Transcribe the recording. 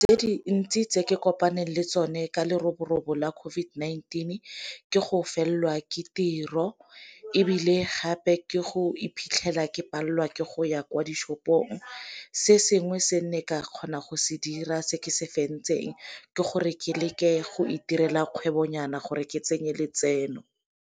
Tse dintsi tse ke kopane le tsone ka leroborobo la COVID-19 ke go fitlhelelwa ke tiro, ebile gape ke go iphitlhela ke palelwa ke go ya kwa di-shopong. Se sengwe se nne ka kgona go se dira se ke se fentseng ke gore ke leke go itirela kgwebonyana gore ke tsenye letseno.